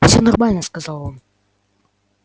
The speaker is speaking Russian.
всё нормально сказал он